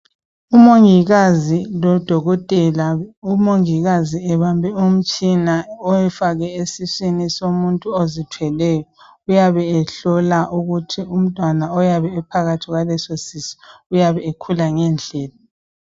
Umongikazi lodokotela. Umongikazi ebambe umtshina ewufake esiswini somuntu ozithweleyo, ehlola ukuthi umntwana ophakathi kwaleso sisu ukhula ngendlela yini.